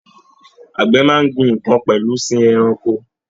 Àgbẹ̀ máa n gbìn nkán pẹlú sìn ẹranko.